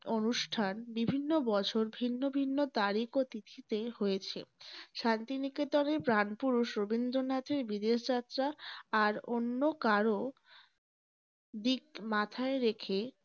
অনুষ্ঠান বিভিন্ন বছর ভিন্ন ভিন্ন তারিখ ও তিথীতে হয়েছে । শান্তি নিকেতনের প্রাণপুরুষ রবীন্দ্রনাথের বিদেশ যাত্রা আর অন্য কারো দিক মাথায় রেখেই